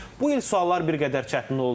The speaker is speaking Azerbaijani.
Bu il suallar bir qədər çətin oldu.